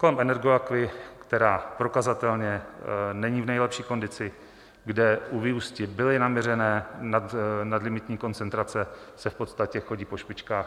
Kolem Energoaquy, která prokazatelně není v nejlepší kondici, kde u vyústi byly naměřené nadlimitní koncentrace, se v podstatě chodí po špičkách.